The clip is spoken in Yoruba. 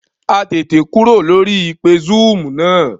A tètè kúrò lórí ìpè zúúmù náà